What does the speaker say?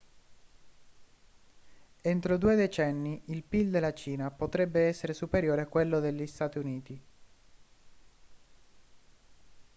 entro due decenni il pil della cina potrebbe essere superiore a quello degli stati uniti